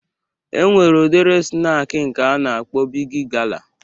E nwere udiri snak nke a na-akpọ Bigi gala